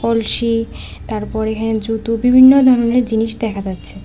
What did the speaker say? কলসি তারপরে জুতো বিভিন্ন ধরনের জিনিস দেখা যাচ্ছে।